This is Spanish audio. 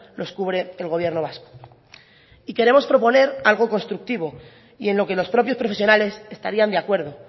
los cubre el gobierno vasco y queremos proponer algo constructivo y en lo que los propios profesionales estarían de acuerdo